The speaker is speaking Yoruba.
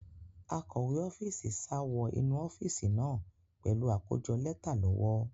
Akọ̀we ọ́fíìsì sá wọ inú ọ́fíìsì náà pẹ̀lú àkójọ lẹ́tà lọ́wọ́.